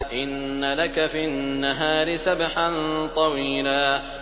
إِنَّ لَكَ فِي النَّهَارِ سَبْحًا طَوِيلًا